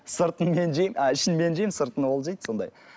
сыртын мен жеймін а ішін мен жеймін сыртын ол жейді сондай